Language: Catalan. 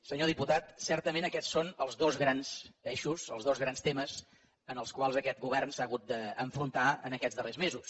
senyor diputat certament aquests són els dos grans eixos els dos grans temes amb els quals aquest govern s’ha hagut d’enfrontar aquests darrers mesos